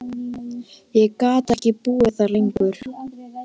Ég gat ekki búið þar lengur.